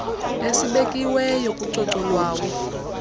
esibekiweyo kucoco lwawo